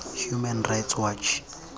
human rights watch